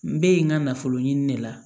N bɛ yen nka nafolo ɲini de la